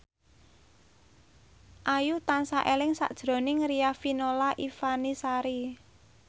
Ayu tansah eling sakjroning Riafinola Ifani Sari